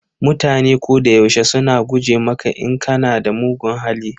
Mutane ko da yaushe suna guje maka in kana da mugun hali.